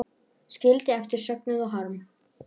Skildi eftir söknuð og harm.